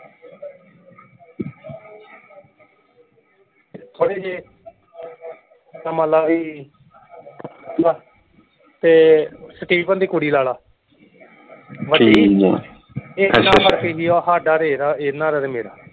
ਥੋੜੇ ਜੇ ਤਾਂ ਮੰਨ ਲਾ ਵੀ ਤੇ ਸਟੀਫਨ ਦੀ ਕੁੜੀ ਲਾ ਲਾ ਇਨ੍ਹਾਂ ਫਰਕ ਸਾਡਾ ਤੇ ਇਹਦਾ ਇਨ੍ਹਾਂ ਦਾ ਤੇ ਮੇਰਾ।